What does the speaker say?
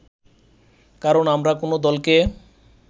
কারণ আমরা কোন দলকে